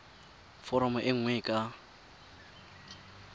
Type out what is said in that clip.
foromo e nngwe e ka